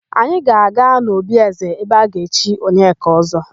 Anyị ga-aga n'obi ézē ebe a ga-echi Onyeka Ọ́zọ́.